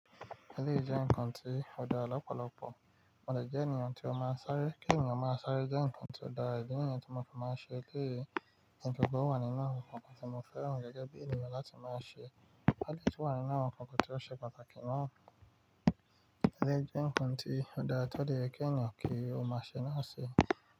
Eléyìí jẹ́ nǹkan tí ó dára lọ́pọ̀lọpọ̀, mo dè jẹ́ ènìyàn tí ó máa ń sáré. Kí ènìyàn ó máa sáré jẹ́ nǹkan tí ó dára, idí ni yii tí mo fi máa ń ṣe eléyìí, ènìyàn tó gbọ́ ó wà nínú àwọn nǹkan tí mo fẹ́ràn gẹ́gẹ́ bí ènìyàn láti máa ṣe. Álìjú wà nínú àwọn nǹkan tí ó ṣe pàtàkì náà, eléyìí jẹ́ nǹkan tí ó dára tó yẹ́ kí ènìyàn kí ó má ṣe náà ṣi.